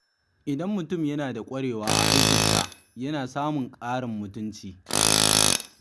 Idan mutum yana da ƙwarewa a aikin sa, yana samun ƙarin mutunci.